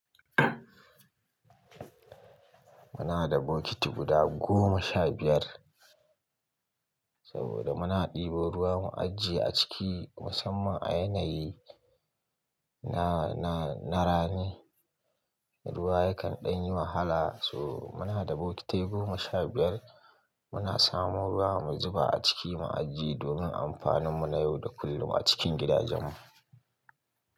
Muna da bokiti guda goma sha biyar saboda muna ɗebo ruwa mu ajiye a ciki musamman a yanayi na, na, na rani. Ruwa yakan ɗan yi wahala so muna da bokitai goma sha biyar, muna samo ruwa mu zuba a ciki mu ajiye domin amfaninmu na yau da kullum a cikin gidajenmu.